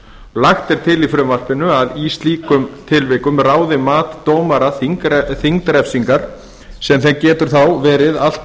lagt er til í frumvarpinu að í slíkum tilvikum ráði mat dómara þyngd refsingar sem getur þá verið allt